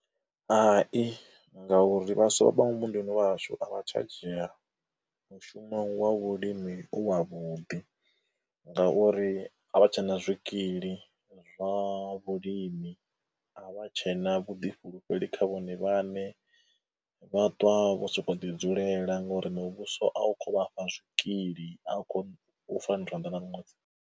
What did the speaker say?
Hai, ngauri vhaswa vha muvhunduni wa hashu a vha tsha dzhia mushumo wa vhulimi u wa vhuḓi ngauri a vha tshe na zwikili zwa vhulimi, a vha tshe na vhuḓifhulufheli kha vhone vhaṋe. Vha ṱwa vho sokou ḓi dzulela ngauri muvhuso a u kho u vha fha zwikili, a u kho u .